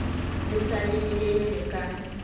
le sa le lelelele ka